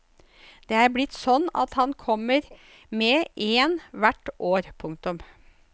Det er blitt sånn at han kommer med én hvert år. punktum